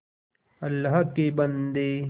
अल्लाह के बन्दे